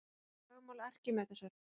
Það er kallað lögmál Arkímedesar.